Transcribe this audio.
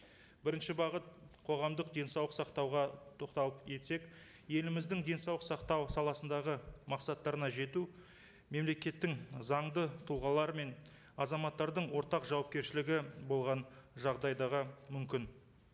бірінші бағыт қоғамдық денсаулық сақтауға тоқталып кетсек еліміздің денсаулық сақтау саласындағы мақсаттарына жету мемлекеттің заңды тұлғалары мен азаматтардың ортақ жауапкершілігі болған жағдайдағы мүмкін